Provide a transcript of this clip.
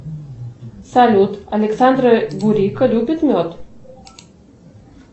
салют александр бурико любит мед